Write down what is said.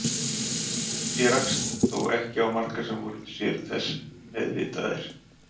Ég rakst þó ekki á marga sem voru sér þess meðvitaðir.